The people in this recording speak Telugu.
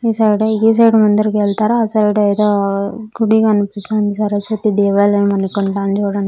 ఈ సైడ్ ఆ గీ సైడ్ ముందరికి ఎల్తారా ఆ సైడ్ ఏదో గుడి కనిపిస్తా ఉంది సరస్వతి దేవాలయం అనుకుంటా చూడండి.